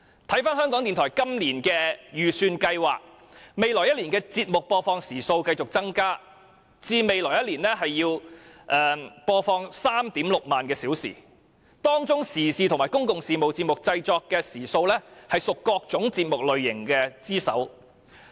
看回港台今年的預算計劃，未來1年的節目播放時數繼續增加至 36,000 小時，當中時事及公共事務節目的製作時數為各節目類型之首。